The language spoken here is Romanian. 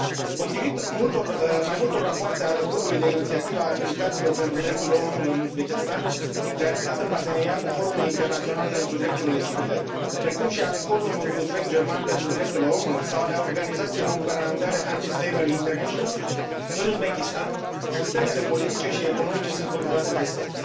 Potrivit mai multor rapoarte ale Grupului de inițiativă a militanților pentru drepturile omului în Uzbekistan, realizat în parteneriat cu Forumul internațional pentru drepturile civile, precum și ale Forumului uzbek german pentru drepturile omului sau ale organizației non gvernamentale Anti Slavery International, în Uzbekistan sistemele politice și economice sunt controlate de stat.